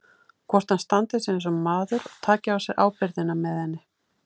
Hvort hann standi sig eins og maður og taki á sig ábyrgðina með henni.